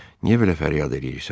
Niyə belə fəryad eləyirsən?